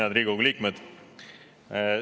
Head Riigikogu liikmed!